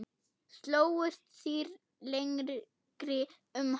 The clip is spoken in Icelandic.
Slógust þrír lengi um hann.